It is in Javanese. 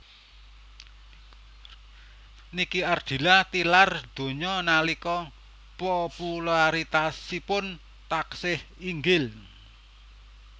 Nike Ardilla tilar donya nalika popularitasipun taksih inggil